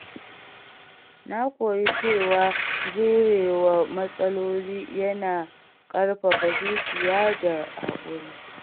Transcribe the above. Na koyi cewa jurewa matsaloli yana ƙarfafa zuciya da haƙuri.